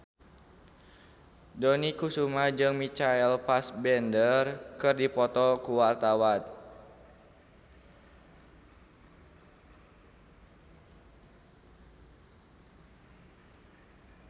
Dony Kesuma jeung Michael Fassbender keur dipoto ku wartawan